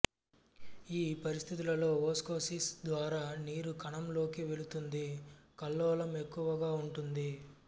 ఈ పరిస్థితులలో ఓస్మోసిస్ ద్వారా నీరు కణంలోకి వెళుతుంది కల్లోలం ఎక్కువగా ఉంటుంది